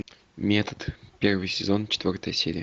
метод первый сезон четвертая серия